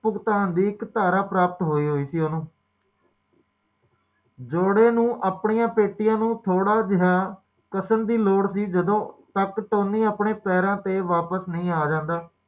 ਜੀਵਨ ਵਿੱਚ ਬੀਮਾ ਲੈਂਦਾ ਹੈ ਤੇ ਮੈਂ ਪੰਜ ਕਰਨਾ